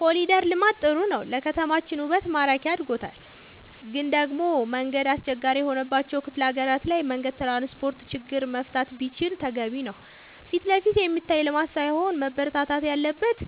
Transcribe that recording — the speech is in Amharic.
ኮሊደር ልማት ጥሩ ነው ለከተማችን ውበት ማራኪ አርጎታል ግን ደሞ መንገድ አስቸጋሪ የሆነባቸው ክፍለ ሀገራት ላይ መንገድ ትራንስፖርት ችግር መፈታት ቢችል ተገቢ ነው ፊትለፊት የሚታይ ልማት ሳይሆን መበረታታት ያለበት